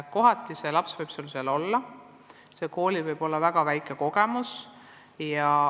Mõni laps võib tõesti õppida koolis, kus on selles valdkonnas väga väike kogemus.